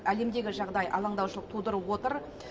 әлемдегі жағдай алаңдаушылық тудырып отыр